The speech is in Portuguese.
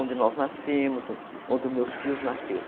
Onde nós nascemos, onde meus tios nasceram.